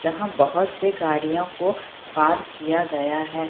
जहां बहत से गाड़ियों को पार किया गया है।